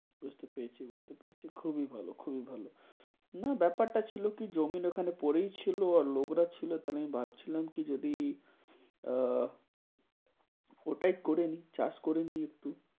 বুঝতে পেরেছি, বুঝতে পেরেছি খুবই ভালো খুবই ভালো। না ব্যাপারটা ছিলো কি জমিন ওইখানে পরেই ছিলো, আর লোকরা ছিলো। তাহলে আমি ভাবছিলাম কি যদি আহ ওটাই করে নেই চাষ করে নেই একটু।